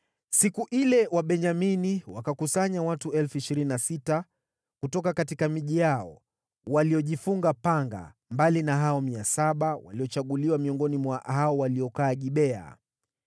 Siku ile Wabenyamini wakakusanya watu 26,000 kutoka miji yao, waliojifunga panga, mbali na hao 700 waliochaguliwa miongoni mwa hao waliokaa Gibea.